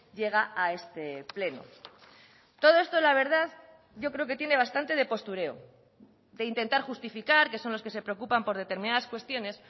llega a este pleno todo esto la verdad yo creo que tiene bastante de postureo de intentar justificar que son los que se preocupan por determinadas cuestiones